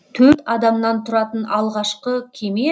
төрт адамнан тұратын алғашқы кеме